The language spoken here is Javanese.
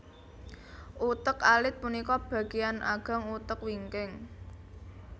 Utek alit punika bagéan ageng utek wingking